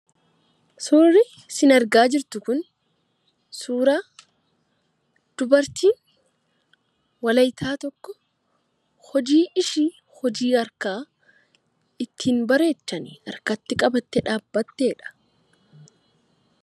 Suurri sin argaa jirtu kun suura dubartii Wolayittaa tokko, hojii ishii hojii harkaa ittiin bareechan harkatti qabattee dhaabbattedha.